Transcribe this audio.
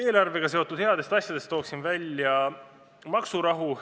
Eelarvega seotud headest asjadest toon välja maksurahu.